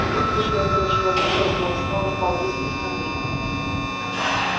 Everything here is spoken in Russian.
выключил этого человека зло снова стал рыскать в мобильном